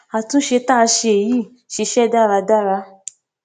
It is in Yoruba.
àtúnṣe tá a ṣe yìí ṣiṣẹ dáradára